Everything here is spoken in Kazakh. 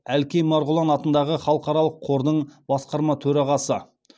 әлкей марғұлан атындағы халықаралық қордың басқарма төрағасы